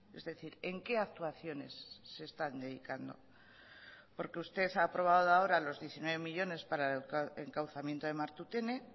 es decir en qué actuaciones se están dedicando porque usted ha aprobado ahora los diecinueve millónes para el encauzamiento de martutene